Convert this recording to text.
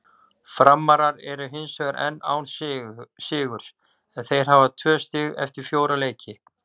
Framarar eru hinsvegar enn án sigurs en þeir hafa tvö stig eftir fjóra leiki.